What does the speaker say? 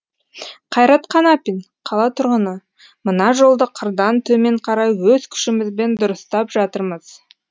қайрат қанапин қала тұрғыны мына жолды қырдан төмен қарай өз күшімізбен дұрыстап жатырмыз